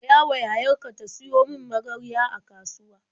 Gayawa yayar ka ta siyo min magarya a kasuwa.